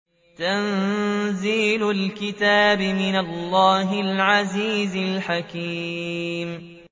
تَنزِيلُ الْكِتَابِ مِنَ اللَّهِ الْعَزِيزِ الْحَكِيمِ